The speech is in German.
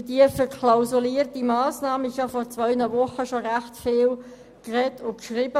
Über diese verklausulierte Massnahme wurde bereits vor zwei Wochen ziemlich viel gesprochen und geschrieben.